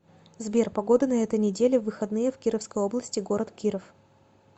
сбер погода на этой неделе в выходные в кировской области город киров